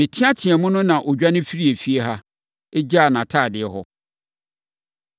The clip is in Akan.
Meteateaam no na ɔdwane firii efie ha, gyaa nʼatadeɛ hɔ.”